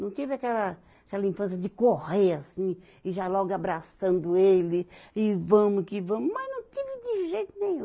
Não tive aquela, aquela infância de correr assim e já logo abraçando ele e vamos que vamos, mas não tive de jeito nenhum.